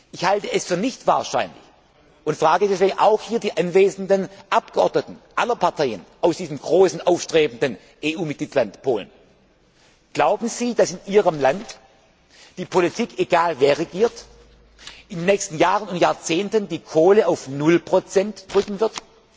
Ich halte es für nicht wahrscheinlich und frage deswegen auch die hier anwesenden Abgeordneten aller Parteien aus diesem großen aufstrebenden EU Mitgliedstaat Polen Glauben Sie, dass in Ihrem Land die Politik egal, wer regiert in den nächsten Jahren und Jahrzehnten die Kohle auf null Prozent drücken wird?